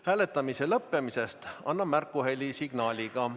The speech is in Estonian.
Hääletamise lõppemisest annan märku helisignaaliga.